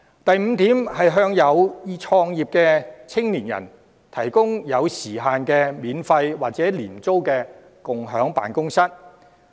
第五，向有意創業的青年人提供限時的免費或廉租共享辦公室。